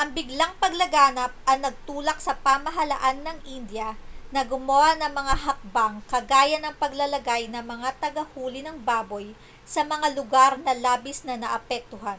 ang biglang paglaganap ang nagtulak sa pamahalaan ng india na gumawa ng mga hakbang kagaya ng paglalagay ng mga tagahuli ng baboy sa mga lugar na labis na naapektuhan